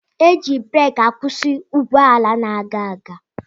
Eji bureki akwusi ụgbọala na-aga aga.